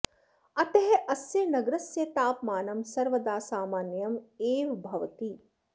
अतः अस्य नगरस्य तापमानं सर्वदा सामान्यम् एव भवति